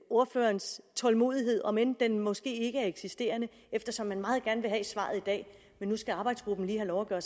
ordførerens tålmodighed om end den måske ikke er eksisterende eftersom man meget gerne vil have svaret i dag men nu skal arbejdsgruppen lige have lov at gøre